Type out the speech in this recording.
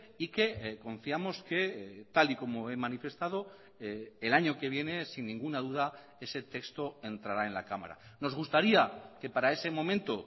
y que confiamos que tal y como he manifestado el año que viene sin ninguna duda ese texto entrará en la cámara nos gustaría que para ese momento